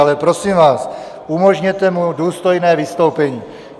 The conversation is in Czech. Ale prosím vás, umožněte mu důstojné vystoupení.